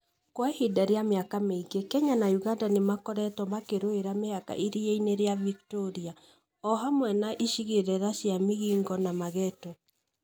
Kwa ihinda rĩa mĩaka mĩingĩ, Kenya na ũganda nĩ makoretwo makĩrũira mĩhaka iria-inĩ rĩaVictoria, o hamwe na icigĩrĩra chia Migingo na Mageta